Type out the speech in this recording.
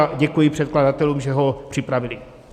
A děkuji předkladatelům, že ho připravili.